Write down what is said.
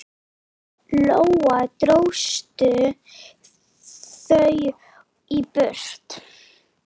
Lóa: Dróstu þau í burtu?